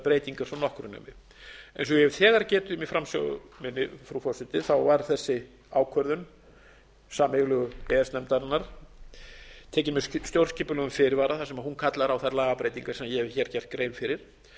breytingar svo nokkru nemi eins og ég hef þegar getið um í framsögu minni frú forseti var þessi ákvörðun sameiginlegu e e s nefndarinnar tekin með stjórnskipulegum fyrirvara þar sem hún kallar á þær lagabreytingar sem ég hef hér gert grein fyrir